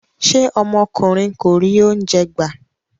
Ṣé ọmọkùnrin kò rí oúnjẹ gbà?